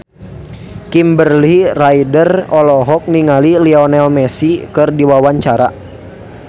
Kimberly Ryder olohok ningali Lionel Messi keur diwawancara